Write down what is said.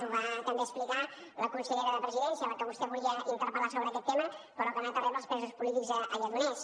ho va també explicar la consellera de la presidència a la que vostè volia interpel·lar sobre aquest tema però que ha anat a rebre els presos polítics a lledoners